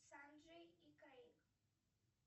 санджей и крейг